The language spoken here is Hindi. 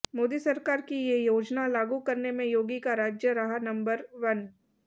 मोदी सरकार की ये योजना लागू करने में योगी का राज्य रहा नंबर वन